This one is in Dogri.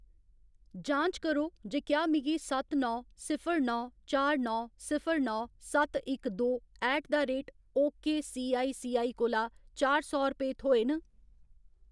जांच करो जे क्या मिगी सत्त नौ सिफर नौ चार नौ सिफर नौ सत्त इक दो ऐट द रेट ओकेसीआईसीआई कोला चार सौ रपेऽ थ्होए न।